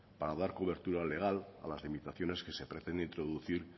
para dar cobertura legal a las limitaciones que se pretende introducir